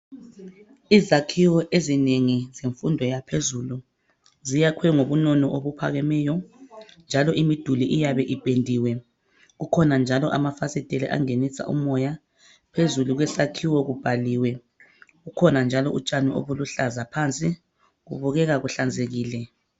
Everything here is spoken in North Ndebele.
izakhiwo ezinengi zemfundo yaphezulu ziyakhwe ngobunono obuphakemeyo njalo imiduli iyabe ipendiwe kukhona njalo amafasiteli angenisa umoya phezulu kwesakhiwo kubhaliwe kukhona utshani obuluhlaza phansi kubukeka buhlanzekile